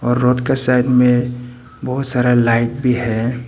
और रोड का साइड में बहुत सारा लाइट भी है।